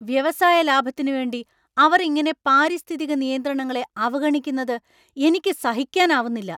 വ്യവസായ ലാഭത്തിനുവേണ്ടി അവർ ഇങ്ങനെ പാരിസ്ഥിതിക നിയന്ത്രണങ്ങളെ അവഗണിക്കുന്നത് എനിക്ക് സഹിക്കാനാവുന്നില്ല.